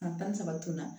A tan ni saba tun na